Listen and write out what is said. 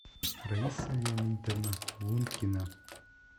раиса леонидовна лункина